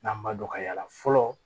N'an ma dɔn ka y'a la fɔlɔ